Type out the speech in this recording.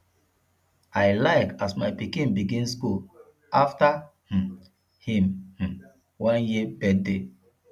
i like as my pikin begin skool afta um him um one year birthday